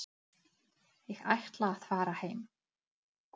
Ég ætla að fara heim.